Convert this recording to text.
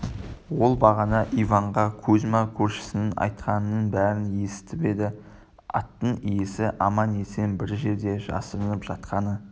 ол бағана иванға кузьма көршісінің айтқанының бәрін есітіп еді аттың иесі аман-есен бір жерде жасырынып жатқаны